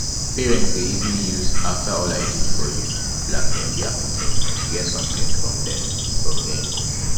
parents de easily use after all i did for you blackmail their pikin to get something from dem from dem